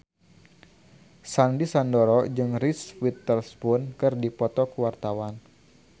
Sandy Sandoro jeung Reese Witherspoon keur dipoto ku wartawan